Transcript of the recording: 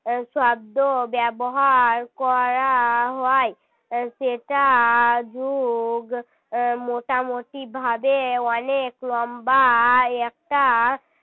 শব্দ ব্যবহার করা হয় সেটা যুগ মোটামুটি ভাবে অনেক লম্বা একটা